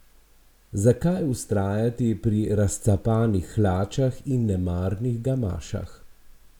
Zakaj vztrajati pri razcapanih hlačah in nemarnih gamašah?